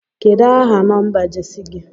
Kedu aha nọmba Jesi gi?